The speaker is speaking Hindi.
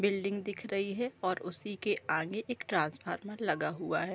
बिल्डिंग दिख रही है और उसी के आगे एक ट्रांसफार्मर लगा हुआ है।